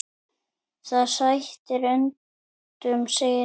Það sætir undrum segir hann.